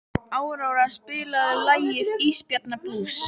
Áróra, spilaðu lagið „Ísbjarnarblús“.